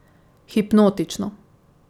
Hipnotično.